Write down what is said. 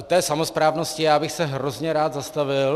U té samosprávnosti já bych se hrozně rád zastavil.